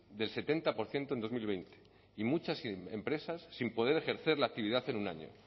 del setenta por ciento en dos mil veinte y muchas empresas sin poder ejercer la actividad en un año